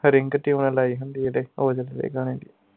ring ਤੇ ਓਵੇਂ ਲਾਇ ਹੁੰਦੀ ਹੈ ਇਹਦੇ ਔਜਲੇ ਦੇ ਗਾਣੇ ਦੀ